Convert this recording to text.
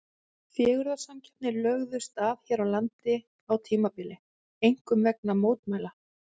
Fegurðarsamkeppnir lögðust af hér á landi á tímabili, einkum vegna mótmælanna.